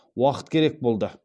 уақыт керек болды